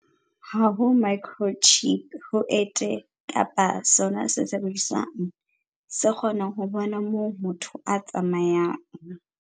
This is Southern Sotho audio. Ha ho microchip ho ente kapa sona sesebediswa se kgonang ho bona moo motho a tsamayang.